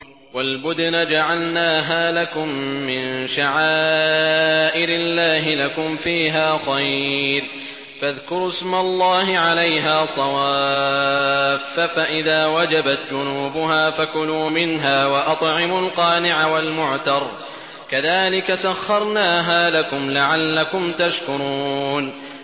وَالْبُدْنَ جَعَلْنَاهَا لَكُم مِّن شَعَائِرِ اللَّهِ لَكُمْ فِيهَا خَيْرٌ ۖ فَاذْكُرُوا اسْمَ اللَّهِ عَلَيْهَا صَوَافَّ ۖ فَإِذَا وَجَبَتْ جُنُوبُهَا فَكُلُوا مِنْهَا وَأَطْعِمُوا الْقَانِعَ وَالْمُعْتَرَّ ۚ كَذَٰلِكَ سَخَّرْنَاهَا لَكُمْ لَعَلَّكُمْ تَشْكُرُونَ